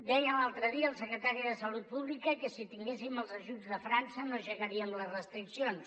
deia l’altre dia el secretari de salut pública que si tinguéssim els ajuts de frança no aixecaríem les restriccions